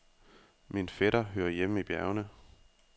Min fætter hører hjemme i bjergene.